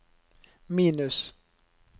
minus